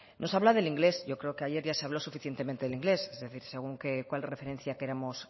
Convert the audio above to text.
nos habla del inglés yo creo que ayer ya se habló suficientemente del inglés es decir según qué referencia queramos